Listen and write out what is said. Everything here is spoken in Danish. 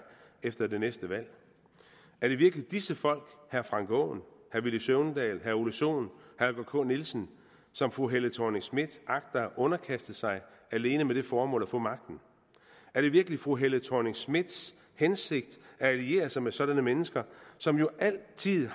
efter det næste valg er det virkelig disse folk herre frank aaen herre villy søvndal herre ole sohn og holger k nielsen som fru helle thorning schmidt agter at underkaste sig alene med det formål at få magten er det virkelig fru helle thorning schmidts hensigt at alliere sig med sådanne mennesker som jo altid